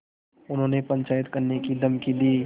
उन्होंने पंचायत करने की धमकी दी